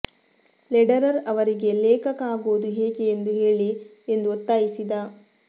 Lederer ಅವರಿಗೆ ಲೇಖಕ ಆಗೋದು ಹೇಗೆ ಎಂದು ಹೇಳಿ ಎಂದು ಒತ್ತಾಯಿಸಿದ